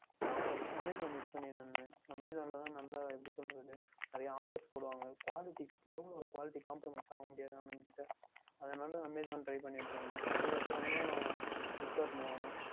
நான் FirstAmazonUse பண்ணிக்கொண்டு இருந்தேன் Amazon ல தான் நன்றாக எப்படி சொல்லுவது நிறைய Offers போடுவார்கள் Quality பொருள் Quality Compramise ஆக முடியது என்று அவர்கள் கூட அதனால் Amazon Try பண்ணிக்கொண்டு இருதேன் அதற்கு அப்புறம் தான் Flipkart க்கு Move ஆனேன்